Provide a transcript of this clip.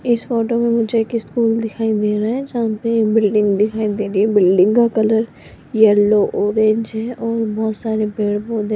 इस फोटो में मुझे एक स्कूल दिखाई दे रहा है जहां पे एक बिल्डिंग दिखाई दे रही है बिल्डिंग का कलर येलो ऑरेंज है और बहोत सारे पेड़-पौधे --